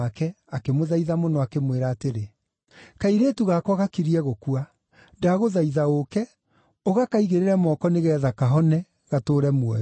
akĩmũthaitha mũno, akĩmwĩra atĩrĩ, “Kairĩtu gakwa gakirie gũkua. Ndagũthaitha ũũke, ũgakaigĩrĩre moko nĩgeetha kahone, gatũũre muoyo.”